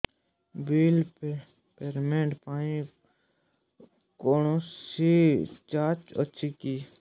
bill payment ପାଇଁ କୌଣସି charge ଅଛି କି